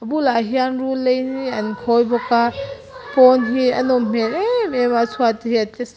a bulah hian rul lei in mi an khawi bawk a pawn hi a nawm hmel emem mai a a chhuat te hi a tle su--